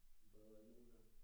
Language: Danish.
Du bader ikke nu her?